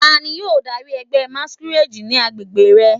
Tani yoo dari ẹgbẹ masquerade ni agbegbe rẹ?